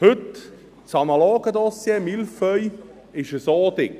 Heute: Das analoge Dossier, «Mille feuilles», ist so dick.